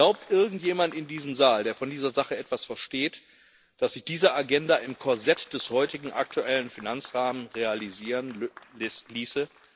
Glaubt irgendjemand in diesem Saal, der von dieser Sache etwas versteht, dass sich diese Agenda im Korsett des heutigen, aktuellen Finanzrahmens realisieren ließe?